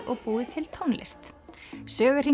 og búið til tónlist